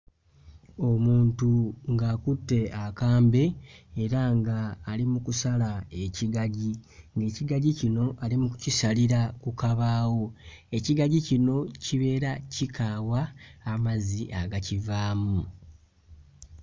Omuntu ng'akutte akambe era ng'ali mu kusala ekigagi. Ekigagi kino ali mu kukisalira ku kabaawo, ekigagi kino kibeera kikaawa amazzi akagakivaamu.